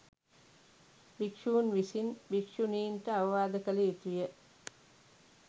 භික්‍ෂූන් විසින් භික්‍ෂූණීන්ට අවවාද කළ යුතු ය.